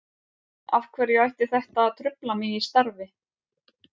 Af hverju ætti þetta að trufla mig í starfi?